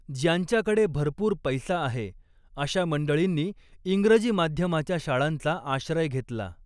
ज्यांच्याकडे भरपूर पैसा आहे, अशा मंडळींनी इंग्रजी माध्यमाच्या शाळांचा आश्रय घेतला.